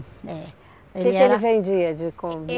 Eh, ele era... O que que ele vendia de?